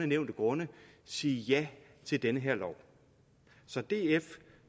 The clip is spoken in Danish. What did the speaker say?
nævnte grunde sige ja til den her lov så df